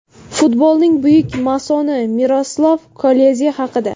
Futbolning buyuk masoni Miroslav Kloze haqida.